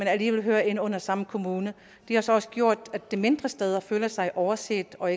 alligevel hører ind under samme kommune det har så også gjort at de mindre steder føler sig overset og